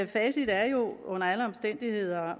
facit er jo under alle omstændigheder